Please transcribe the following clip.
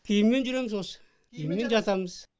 киіммен жүреміз осы киіммен жатамыз